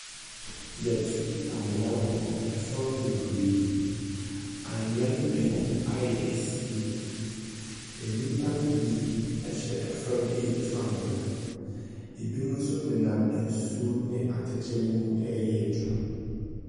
Yɛatu amena wɔ fam bebree. Awea no bi ayɛ esie. Nnipa no bi hyɛ fam retu amena. Ebi nso nenam nsuo ne atɛkyɛ no mu reyɛ adwuma.